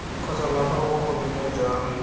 kgotsa la kwa bogodimong jwa